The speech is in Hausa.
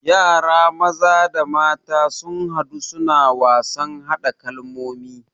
Yara maza da mata sun hadu suna wasan hada kalmomi